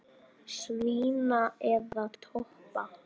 Svína eða toppa?